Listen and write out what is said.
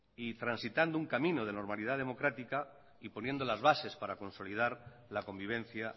y transitando un camino de normalidad democrática y poniendo las bases para consolidar la convivencia